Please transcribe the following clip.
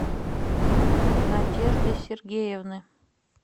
надежды сергеевны